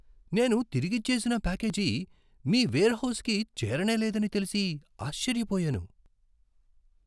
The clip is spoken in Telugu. నేను తిరిగిచ్చేసిన ప్యాకేజీ మీ వెర్హౌస్కి చేరనేలేదని తెలిసి, ఆశ్చర్యపోయాను!